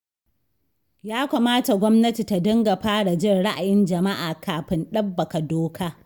Ya kamata gwamnati ta dinga fara jin ra'ayin jama'a kafin ɗabbaƙa doka.